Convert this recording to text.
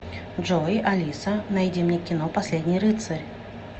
джой алиса найди мне кино последний рыцарь